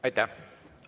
Aitäh!